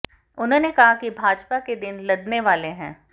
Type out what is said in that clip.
उन्होंने कहा कि भाजपा के दिन लदने वाले हैं